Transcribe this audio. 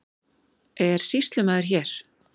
Er sýslumaður hér?